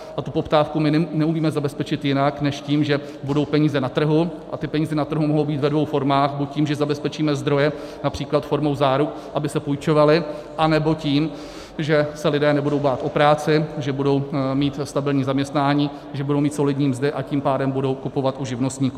A tu poptávku my neumíme zabezpečit jinak než tím, že budou peníze na trhu, a ty peníze na trhu mohou být ve dvou formách, buď tím, že zabezpečíme zdroje například formou záruk, aby se půjčovaly, anebo tím, že se lidé nebudou bát o práci, že budou mít stabilní zaměstnání, že budou mít solidní mzdy, a tím pádem budou kupovat u živnostníků.